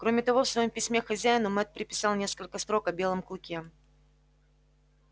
кроме того в своём письме к хозяину мэтт приписал несколько строк о белом клыке